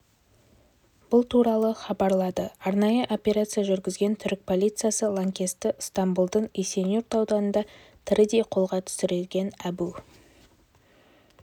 бұл туралы хабарлады арнайы операция жүргізген түрік полициясы лаңкесті ыстамбұлдың есенюрт ауданында тірідей қолға түсірген әбу